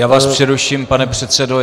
Já vás přeruším, pane předsedo.